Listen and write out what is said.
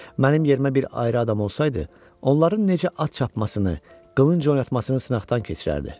Mənim yerimə bir ayrı adam olsaydı, onların necə at çapmasını, qılınc oynatmasını sınaqdan keçirərdi.